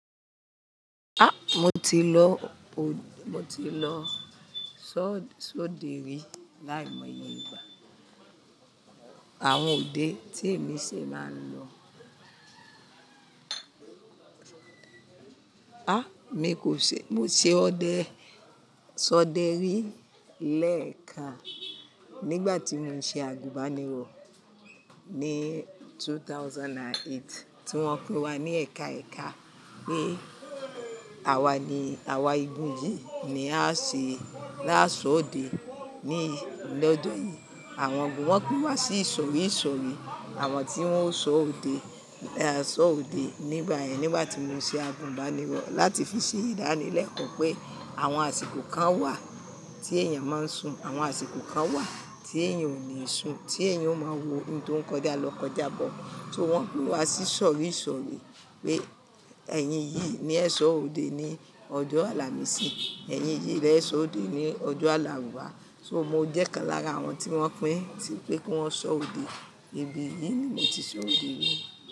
Ah! Mo ti lọ òd-- mo ti lọ só-sọ́de rí láìmọ̀ye ìgbà. Àwọn òde tí èmi ṣe máa ń lọ. Ah! Mi kò ṣe-- mo ṣe ọdẹ-- sọ́de rí lẹ́ẹ̀kan nígbà tí mo ń ṣe àgùnbánirọ̀ ní 2008, tí wọ́n pin wa ní ẹka ẹka pé àwa ni, àwa igun yìí ni a ṣe lásọ òde ní lọ́dun yìí. Àwọn ògùn wọ́n pín wa sí ìsọ̀rí ìsọ̀rí, àwọn tí wọ́n ó sọ òde, ẹ sọ òde nígbà yẹn, nígbà tí mo ń ṣe àgùnbánirọ̀, láti fi ṣe ìdánilẹ́ẹ̀kọ́ pé àwọn àsìkò kan wà tí èèyàn máa ń sùn, àwọn àsìkò kan wà tí èèyàn ò ní sùn, tí èèyàn ó máa wo ohun tó ń kọjá lọ kọjá bọ̀. So wọ́n pín wa sí ìsọ̀rí ìsọ̀rí pé ẹ̀yin yìí ní ẹ sọ òde ní ọjọ́ Alámisì, ẹ̀yin yìí lẹ sọ òde ní ọjọ́ Alárùwá. So mo jẹ́ kan lára àwọn tí wọ́n pín pé kí wọ́n sọ òde. Ibi yìí ni mo ti sọ òde rí.